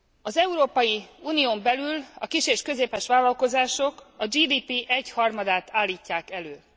Az Európai Unión belül a kis és közepes vállalkozások a GDP egyharmadát állítják elő.